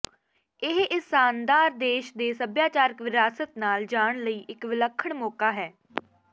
ਇਹ ਇਸ ਸ਼ਾਨਦਾਰ ਦੇਸ਼ ਦੇ ਸੱਭਿਆਚਾਰਕ ਵਿਰਾਸਤ ਨਾਲ ਜਾਣ ਲਈ ਇੱਕ ਵਿਲੱਖਣ ਮੌਕਾ ਹੈ